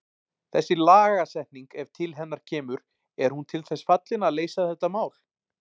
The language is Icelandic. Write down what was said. Þessi lagasetning ef til hennar kemur, er hún til þess fallin að leysa þetta mál?